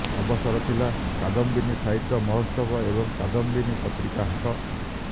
ଅବସର ଥିଲା କାଦମ୍ବିନୀ ସାହିତ୍ୟ ମହୋତ୍ସବ ଏବଂ କାଦମ୍ବିନୀ ପତ୍ରିକା ହାଟ